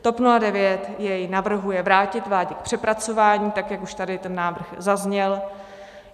TOP 09 jej navrhuje vrátit vládě k přepracování, tak jak už tady ten návrh zazněl.